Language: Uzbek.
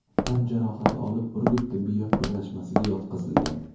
tan jarohati olib, Urgut tibbiyot birlashmasiga yotqizilgan.